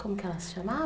Como que ela se chama